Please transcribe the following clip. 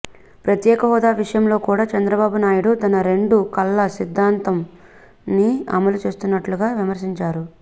ప్రత్యేక హోదా విషయంలో కూడా చంద్రబాబు నాయుడు తన రెండు కళ్ళ సిద్దాంతాన్ని అమలుచేస్తున్నట్లుందని విమర్శించారు